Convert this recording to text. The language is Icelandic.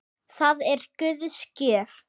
Það er Guðs gjöf.